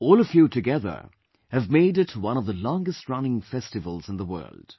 All of you together have made it one of the longest running festivals in the world